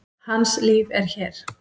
Hans líf er hér.